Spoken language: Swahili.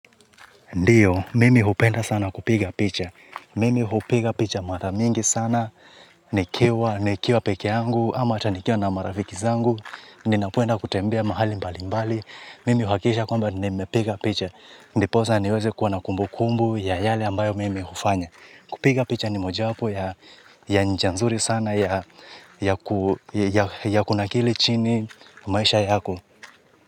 Ndiyo, mimi hupenda sana kupiga picha. Mimi hupiga picha mara mingi sana. Nikiwa nikiwa pekee yangu, ama hata nikiwa na marafiki zangu. Ninapenda kutembea mahali mbali mbali. Mimi huhakikisha kwamba nimepiga picha. Ndiposa niweze kuwa na kumbukumbu ya yale ambayo mimi hufanya. Kupiga picha ni mojawapo ya njia nzuri sana ya kunakili chini maisha yako.